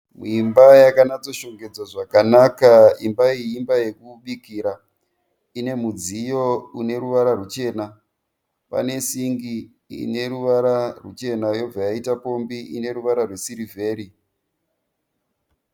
Imba yakanatso shongedzwa zvakanaka. Imba iyi imba yokubikira. Ine mudziyo ine ruvara ruchena pane singi ine ruvara ruchena yobva yaita pombi ineruvara rwesirivheri.